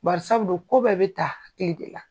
Bari sabu dun ko bɛɛ bɛ ta kile de la.